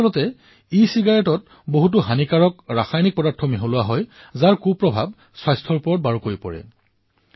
প্ৰকৃততে ইচিগাৰেটত এনে বহু হানিকাৰক ৰাসায়নিক পদাৰ্থ মিহলোৱা হয় যাৰ ফলত স্বাস্থ্যত বেয়া প্ৰভাৱ পৰে